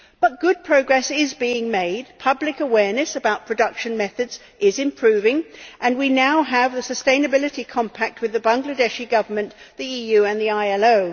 But good progress is being made, public awareness about production methods is improving, and we now have the Sustainability Compact with the Bangladeshi Government, the EU and the ILO.